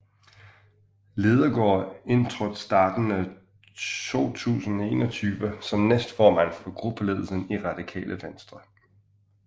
Lidegaard indtrådte starten af 2021 som næstformand for gruppeledelsen i Radikale Venstre